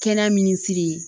Kɛnɛ min siri